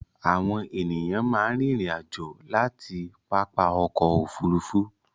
Àwọn ènìyàn máa ń rìnrìn-àjò láti pápá ọkọ̀-òfurufú.